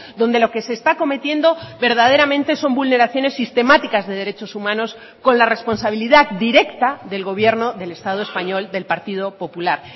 donde lo que se está cometiendo verdaderamente son vulneraciones sistemáticas de derechos humanos con la responsabilidad directa del gobierno del estado español del partido popular